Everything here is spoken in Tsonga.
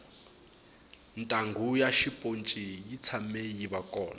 ntanghu ya xiponci yi tshame yiva kona